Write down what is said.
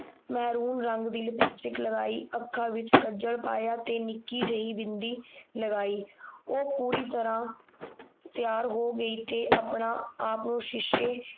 ਮੇਹਰੁਨ ਰੰਗ ਦੀ ਲਿਪਸਟਿਕ ਲਗਾਈ ਅੱਖਾਂ ਵਿਚ ਕੱਜਲ਼ ਪਾਇਆ ਤੇ ਨਿੱਕੀ ਜਿਹੀ ਬਿੰਦੀ ਲਗਾਈ ਉਹ ਪੂਰੀ ਤਰ੍ਹਾਂ ਤਿਆਰ ਹੋ ਗਈ ਤੇ ਆਪਣਾ ਆਪ ਸ਼ੀਸ਼ੇ